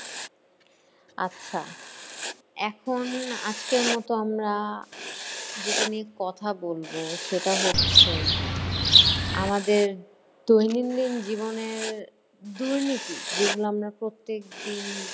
আচ্ছা। এখন আজকের মতো আমরা যেটা নিয়ে কথা বলবো সেটা হচ্ছে, আমাদের দৈনিন্দিন জীবনের দুর্নীতি যেগুলো আমরা প্রত্যেকদিন,